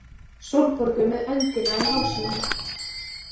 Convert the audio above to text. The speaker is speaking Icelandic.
Sólborgu með öndina í hálsinum.